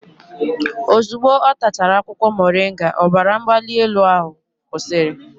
Ozugbo ọ tachara akwụkwọ moringa, ọbara mgbali elu ahụ kwụsịrị